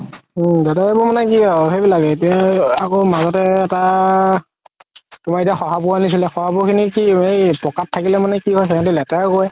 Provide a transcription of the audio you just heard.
উম দাদা মানে কি আৰু এতিয়া আকৌ মাজতে এটা তুমাৰ সহা পহু অনিছিলে সহা পহু খিনি কি এই পকাত থাকিলে মানে কি হয় সিহতে লেতেৰা কৰে